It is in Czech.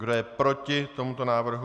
Kdo je proti tomuto návrhu?